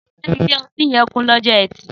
Sé ìlé õtí yen kún lõjõ ètí?